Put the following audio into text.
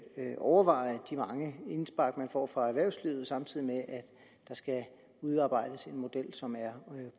overveje de mange indspark man får fra erhvervslivet samtidig med at der skal udarbejdes en model som er